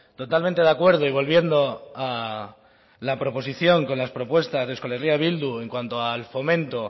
totalmente de acuerdo y volviendo a la proposición con las propuestas de euskal herria bildu en cuanto al fomento